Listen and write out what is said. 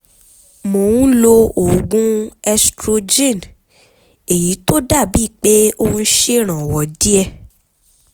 mo ń lo oògùn estrogen èyí tó dàbíi pé ó ń ṣèrànwọ́ díẹ̀